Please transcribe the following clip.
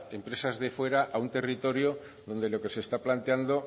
empresas de fuera a un territorio donde lo que se está planteando